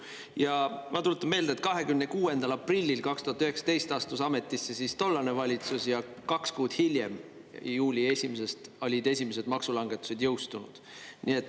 Ja ma tuletan meelde, et 26. aprillil 2019 astus ametisse tollane valitsus ja kaks kuud hiljem, 1. juulist olid esimesed maksulangetused jõustunud.